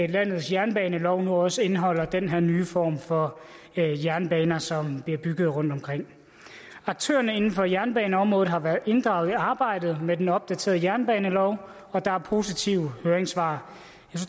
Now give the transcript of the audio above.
landets jernbanelov nu også indeholder den her nye form for jernbaner som bliver bygget rundtomkring aktørerne inden for jernbaneområdet har været inddraget i arbejdet med den opdaterede jernebanelov og der er positive høringssvar